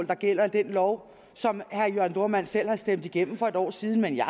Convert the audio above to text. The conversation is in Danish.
der gælder i den lov som herre jørn dohrmann selv har stemt igennem for et år siden men jeg